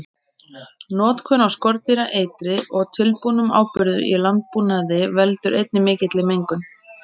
Notkun á skordýraeitri og tilbúnum áburði í landbúnaði veldur einnig mikilli mengun.